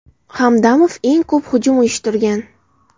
Hamdamov eng ko‘p hujum uyushtirgan.